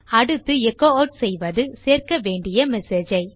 அடுத்து எச்சோ ஆட் செய்வது சேர்க்க வேண்டிய மெசேஜ் ஐ